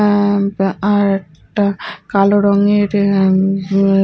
আ পা আর টা কালো রঙের এ উম--